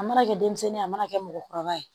A mana kɛ denmisɛnnin ye a mana kɛ mɔgɔkɔrɔba ye